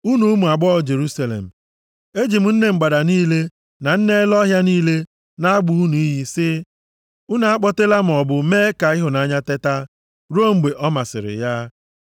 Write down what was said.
Unu ụmụ agbọghọ Jerusalem, eji m nne mgbada niile na nne ele ọhịa niile na-agba unu iyi sị: Unu akpọtela maọbụ mee ka ịhụnanya teta, ruo mgbe ọ masịrị ya.